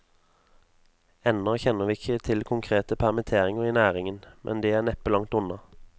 Ennå kjenner vi ikke til konkrete permitteringer i næringen, men de er neppe langt unna.